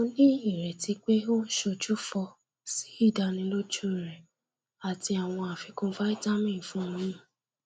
mo ní ireti pé o ń ṣojúfọ sí ìdánilójú rẹ àti àwọn afikun vitamin fún oyún